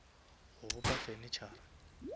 go bopa furnitura